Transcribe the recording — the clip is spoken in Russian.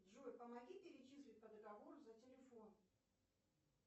джой помоги перечислить по договору за телефон